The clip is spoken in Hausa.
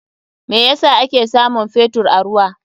Me yasa ake samun Fetur a ruwa?